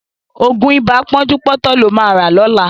Ògùn ibà pọ́njúpọ́tọ̀ ló ma rà lọ́la